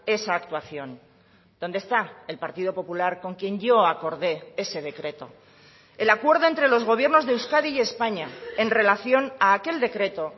esa actuación dónde está el partido popular con quien yo acordé ese decreto el acuerdo entre los gobiernos de euskadi y españa en relación a aquel decreto